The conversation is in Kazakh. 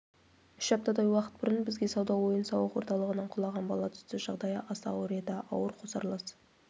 үш аптадай уақыт бұрын бізге сауда-ойын-сауық орталығынан құлаған бала түсті жағдайы аса ауыр еді ауыр қосарлас